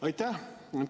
Aitäh!